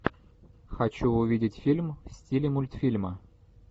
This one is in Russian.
хочу увидеть фильм в стиле мультфильма